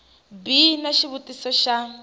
b xi na xivutiso xa